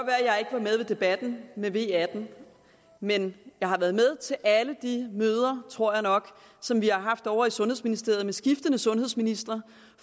ved debatten i med v atten men jeg har været med til alle de møder tror jeg nok som vi har haft ovre i sundhedsministeriet med skiftende sundhedsministre